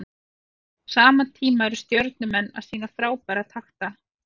Á sama tíma eru Stjörnumenn að sýna frábæra takta.